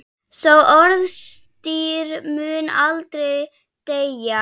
Sá orðstír mun aldrei deyja.